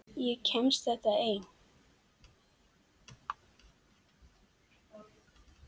Ég kemst þetta einn.